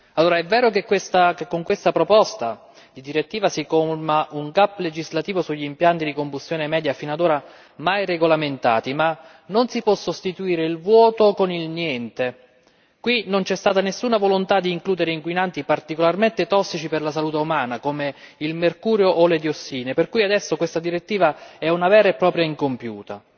Signora Presidente, onorevoli colleghi, è vero che con questa proposta di direttiva si colma un gap legislativo sugli impianti di combustione media fino ad ora mai regolamentati, ma non si può sostituire il vuoto con il niente, qui non c'è stata nessuna volontà di includere inquinanti particolarmente tossici per la salute umana, come il mercurio o le diossine, per cui adesso questa direttiva è una vera e propria direttiva incompiuta.